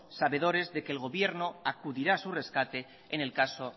sabedores de que el gobierno acudirá a su rescate en el caso